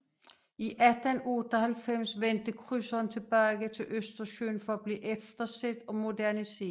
I 1898 vendte krydseren tilbage til Østersøen for at blive efterset og moderniseret